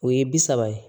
O ye bi saba ye